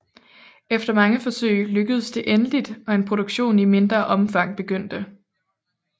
Efter mange forsøg lykkedes det endeligt og en produktion i mindre omfang begyndte